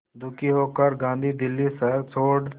दुखी होकर गांधी दिल्ली शहर छोड़